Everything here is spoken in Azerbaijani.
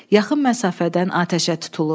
Yaxın məsafədən atəşə tutulur.